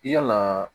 Yala